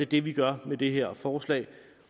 det vi gør med det her forslag